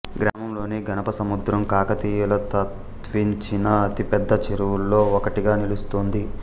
గ్రామంలోని గణపసముద్రం కాకతీయులు తవ్వించిన అతిపెద్ద చెరువుల్లో ఒకటిగా నిలుస్తోంది